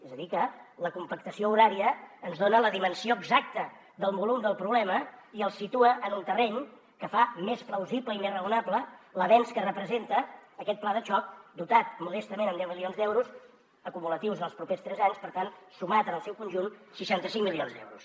és a dir que la compactació horària ens dona la dimensió exacta del volum del problema i el situa en un terreny que fa més plausible i més raonable l’avenç que representa aquest pla de xoc dotat modestament amb deu milions d’euros acumulatius en els propers tres anys per tant sumats en el seu conjunt seixanta cinc milions d’euros